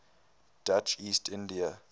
dutch east india